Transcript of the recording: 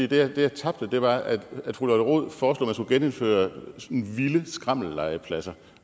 det jeg tabte til var at fru lotte rod foreslog genindføre vilde skrammellegepladser